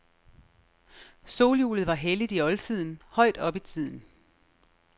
Solhjulet var helligt i oldtiden, højt op i tiden.